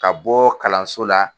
Ka bɔ kalanso la.